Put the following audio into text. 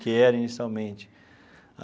que era inicialmente.